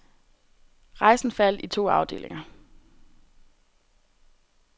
Rejsen faldt i to afdelinger.